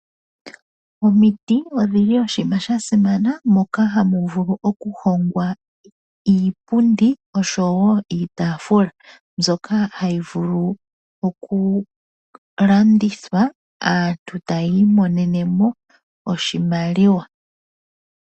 Omiti odhi li dha simana moka hamu vulu okuhongwa iipundi niitafula, mbyoka hayi vulu okulandithwa aantu taya imonene mo oshimaliwa.